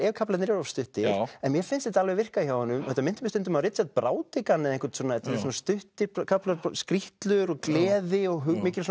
ef kaflarnir eru of stuttir en mér finnst þetta alveg virka hjá honum þetta minnti mig stundum á Richard Brautigan þetta eru svona stuttir kaflar skrítlur og gleði og mikil